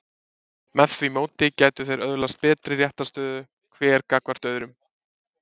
Með því móti gætu þeir öðlast betri réttarstöðu hver gagnvart öðrum.